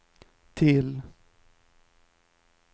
till